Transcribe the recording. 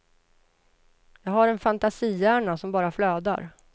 Jag har en fantasihjärna som bara flödar.